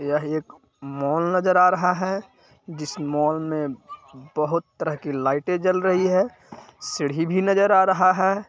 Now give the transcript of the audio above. यह एक मोल नज़र आ रहा है जिस मोल में बहुत प्रकार की लाइट ते गल रही है सीड़ी भि नजर आ रहा है।